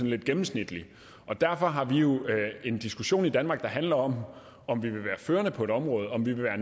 lidt gennemsnitlig derfor har vi jo en diskussion i danmark der handler om om vi vil være førende på området om vi vil være